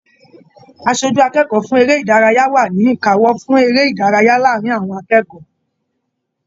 Aṣojú akẹ́kọ̀ọ́ fún eré ìdárayá wa ni ìkáwọ́ fún eré ìdárayá láàrín àwọn akẹ́kọ̀ọ́.